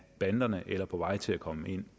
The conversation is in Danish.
banderne eller er på vej til at komme ind